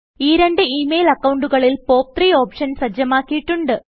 ഈ രണ്ട് email അക്കൌണ്ടുകളിൽ പോപ്പ്3 ഓപ്ഷൻ സജ്ജമാക്കിയിട്ടുണ്ട്